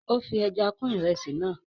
ó fi ẹja kún ìrẹsì náà